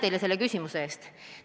Aitäh selle küsimuse eest!